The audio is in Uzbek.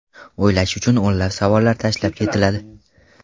O‘ylash uchun o‘nlab savollar tashlab ketiladi.